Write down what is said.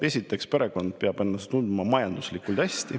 Esiteks, perekond peab ennast tundma majanduslikult hästi.